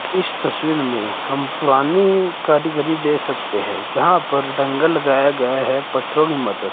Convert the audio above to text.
इस तस्वीर में हम पुरानी कारीगरी देख सकते हैं जहां पर